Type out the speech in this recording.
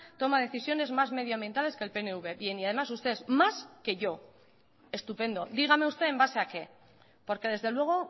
toma decisiones más medioambientales que el pnv bien y además usted es más que yo estupendo dígame usted en base a qué porque desde luego